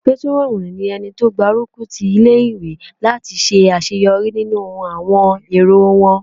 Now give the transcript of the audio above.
Pétúrọ̀nù ní ẹni tó n gbárùkù ti ilé-ìwé láti ṣe àṣeyọrí nínú àwọn èrò won